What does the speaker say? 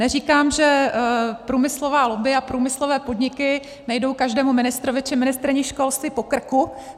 Neříkám, že průmyslová lobby a průmyslové podniky nejdou každému ministrovi či ministryni školství po krku.